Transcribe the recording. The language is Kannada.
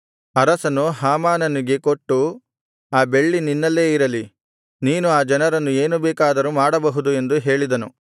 ಅರಸನು ಹಾಮಾನನಿಗೆ ಕೊಟ್ಟು ಆ ಬೆಳ್ಳಿ ನಿನ್ನಲ್ಲೇ ಇರಲಿ ನೀನು ಆ ಜನರನ್ನು ಏನು ಬೇಕಾದರೂ ಮಾಡಬಹುದು ಎಂದು ಹೇಳಿದನು